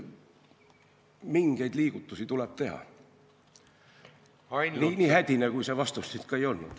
Mingeid liigutusi tuleb teha, nii hädine kui minu vastus ka ei olnud.